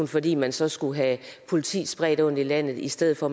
fordi man så skal have politi spredt rundt i landet i stedet for